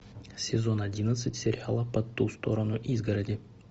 сезон одиннадцать сериала по ту сторону изгороди